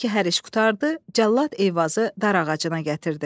Elə ki, hər iş qurtardı, Cəllad Eyvazı darağacına gətirdi.